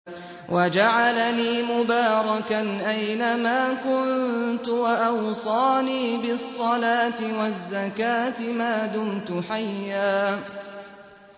وَجَعَلَنِي مُبَارَكًا أَيْنَ مَا كُنتُ وَأَوْصَانِي بِالصَّلَاةِ وَالزَّكَاةِ مَا دُمْتُ حَيًّا